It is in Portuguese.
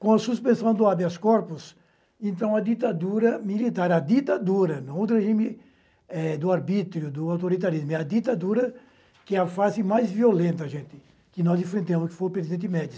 Com a suspensão do habeas corpus, então a ditadura militar, a ditadura, não regime do arbítrio, do autoritarismo, é a ditadura que é a fase mais violenta, gente, que nós enfrentamos, que foi o presidente Médici.